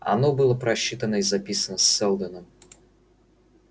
оно было просчитано и записано сэлдоном